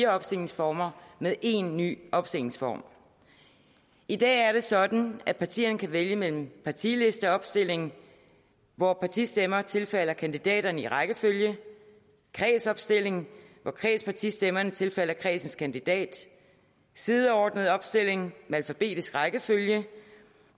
opstillingsformer med en ny opstillingsform i dag er det sådan at partierne kan vælge mellem partilisteopstilling hvor partistemmer tilfalder kandidaterne i rækkefølge kredsopstilling hvor kredspartistemmerne tilfalder kredsens kandidat sideordnet opstilling med alfabetisk rækkefølge